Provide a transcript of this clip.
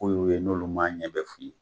ye n'olu m'a ɲɛɛ f'i ye.